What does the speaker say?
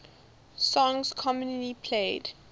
songs commonly played